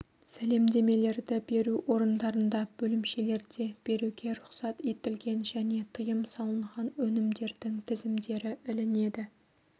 сәлемдемелерді беру орындарында бөлімшелерде беруге рұқсат етілген және тыйым салынған өнімдердің тізімдері ілінеді